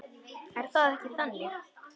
Er það ekki þannig?